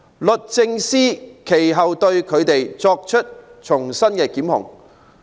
律政司其後對他們重新作出檢控。